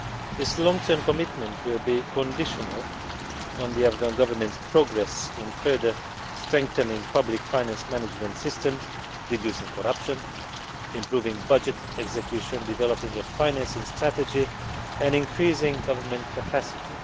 This long term commitment will be conditional on the Afghan Government's progress in further strengthening public finance management systems, reducing corruption, improving budget execution, developing a financing strategy and increasing government capacity.